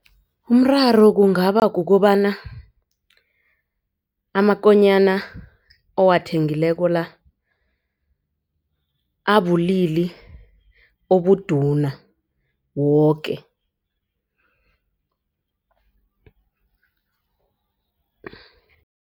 Umraro kungaba kukobana amakonyana owathengileko la abulili obuduna woke.